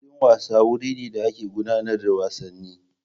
Filin wasa wuri ne da ake gudanar da wasanni.